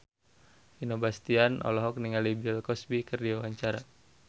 Vino Bastian olohok ningali Bill Cosby keur diwawancara